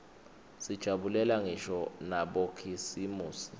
sijabulela ngisho nabokhisimusi